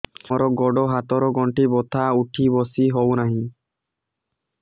ମୋର ଗୋଡ଼ ହାତ ର ଗଣ୍ଠି ବଥା ଉଠି ବସି ହେଉନାହିଁ